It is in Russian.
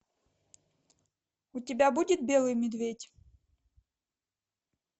у тебя будет белый медведь